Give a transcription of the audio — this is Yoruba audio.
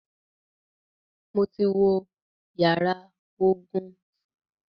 Mo ti wo yàrá ogun.